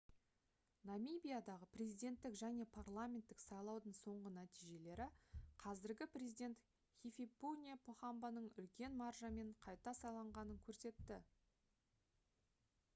намибиядағы президенттік және парламенттік сайлаудың соңғы нәтижелері қазіргі президент хификепунье похамбаның үлкен маржамен қайта сайланғанын көрсетті